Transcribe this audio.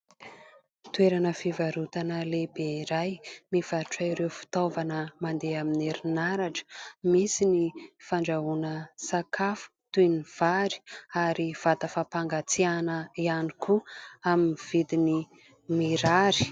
Toerana fivarotana lehibe iray mivarotra ireo fitaovana mandeha amin'ny herinaratra : misy ny fandrahoana sakafo toy ny vary, ary vata fampangatsiahana ihany koa, amin'ny vidiny mirary.